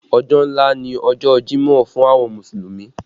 Ọjọ́ ńlá ni ọjọ jimọ fún àwọn Mùsùlùmí